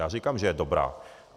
Já říkám, že je dobrá.